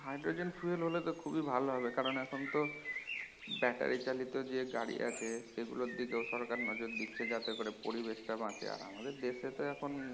hydrogen fuel হলে তো খুবি ভালো হবে কারণ এখন তো ব্যাটারি চালিত যে গাড়ি আছে সেগুলোর দিকে সরকার নজর দিচ্ছে যাতে করে পরিবেশ টা বাচে আমাদের দেশে তো এখন